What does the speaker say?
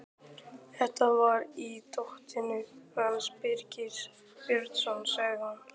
Þetta var í dótinu hans Birgis Björns, sagði hún.